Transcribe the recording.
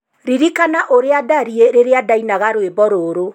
Ririkana ũrĩa ndariĩ rĩrĩa ndainaga rwĩmbo rũrũ.